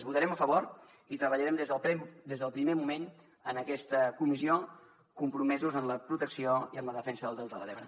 votarem a favor i treballarem des del primer moment en aquesta comissió compromesos en la protecció i en la defensa del delta de l’ebre